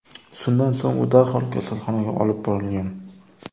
Shundan so‘ng u darhol kasalxonaga olib borilgan.